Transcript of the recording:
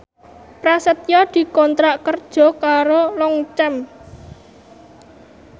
Prasetyo dikontrak kerja karo Longchamp